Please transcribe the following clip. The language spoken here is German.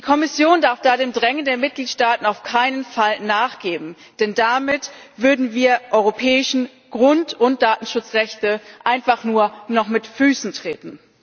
Die Kommission darf da dem Drängen der Mitgliedsstaaten auf keinen Fall nachgeben, denn damit würden wir europäische Grund und Datenschutzrechte einfach nur noch mit Füßen treten.